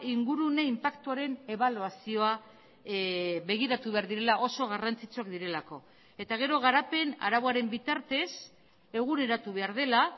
ingurune inpaktuaren ebaluazioa begiratu behar direla oso garrantzitsuak direlako eta gero garapen arauaren bitartez eguneratu behar dela